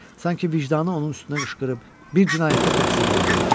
Sanki vicdanı onun üstünə qışqırıb bir cinayətdə təqsirləndirirdi.